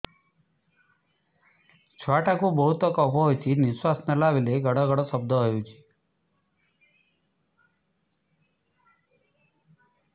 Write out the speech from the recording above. ଛୁଆ ଟା କୁ ବହୁତ କଫ ହୋଇଛି ନିଶ୍ୱାସ ନେଲା ବେଳେ ଘଡ ଘଡ ଶବ୍ଦ ହଉଛି